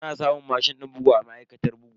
Ana samun mashin din bugu a ma'aikatar bugu.